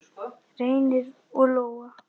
Reynir og Lóa.